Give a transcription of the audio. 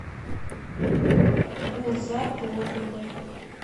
гулзар плотников